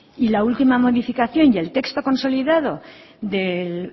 y la última modificación y el texto consolidado